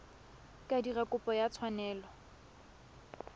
ka dira kopo ya tshwanelo